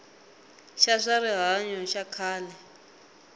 xa swa rihanyo xa khale